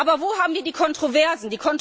Aber wo haben wir Kontroversen?